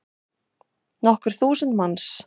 Nokkur þúsund manns.